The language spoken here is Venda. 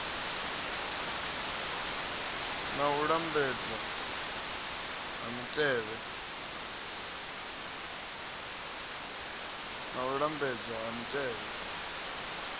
na u lambedzwa ha mitevhe